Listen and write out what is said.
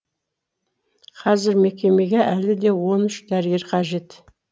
қазір мекемеге әлі де он үш дәрігер қажет